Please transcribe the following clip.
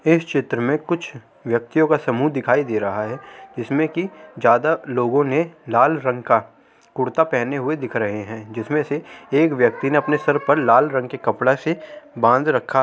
क्या चित्र में कुछ व्यक्तियों का समुह दिखाई दे रहा है जिसमें की ज्यादा लोगों ने लाल रंग का कुर्ता पहने हुए दिख रहे हैं जिसमें से एक व्यक्ति ने अपने सर पर लाल रंग के कपड़े से बांध रखा --